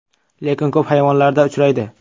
Lekin ko‘p hayvonlarda uchraydi.